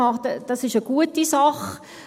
Das ist eine gute Sache.